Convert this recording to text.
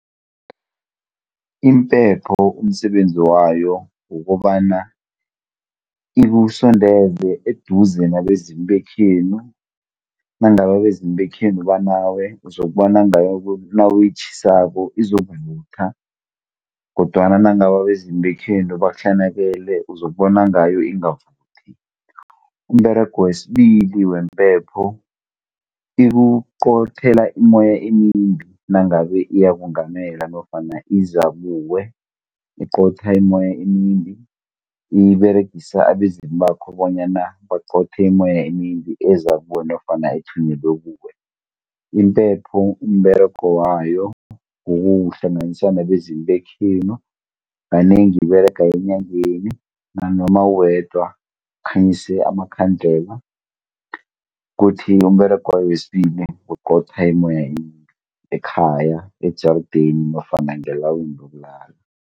Imphepho umsebenzi wayo kukobana ikusondeze eduze nabezimu bekhenu, nangabe abezimu bekhenu banawe uzokubona ngayo nawuyitjhisako izokuvutha, kodwana nangabe abezimu bekhenu bakuhlanakele uzokubona ngayo ingavuthi. Umberego wesibili wempepho, ikuqothela immoya emimbi, nangabe iyakungamela nofana iza kuwe. Iqotha immoya emimbi, iberegisa abezimu bakho bonyana baqothe immoya emimbi eza kuwe nofana ethunyelwe kuwe. Impepho umberego wayo kukukuhlanganisa nabezimu bekhenu, kanengi iberega enyangeni, nanoma uwedwa, ukhanyise amakhandlela. Kuthi umberego wayo wesibili kuqotha immoya emimbi, ekhaya, ejarideni nofana ngelawini lokulala.